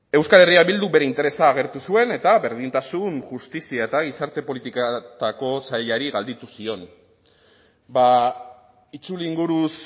euskal herria bilduk bere interesa agertu zuen eta berdintasun justizia eta gizarte politiketako sailari galdetu zion itzulinguruz